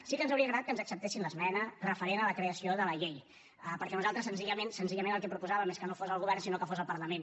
sí que ens hauria agradat que ens acceptessin l’esmena referent a la creació de la llei perquè nosaltres senzillament senzillament el que proposàvem és que no fos el govern sinó que fos el parlament